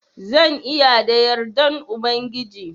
Zan iya da yardan Ubangiji.